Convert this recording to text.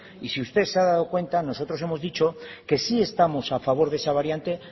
y si usted se ha dado cuenta nosotros hemos dicho que sí estamos a favor de esa variante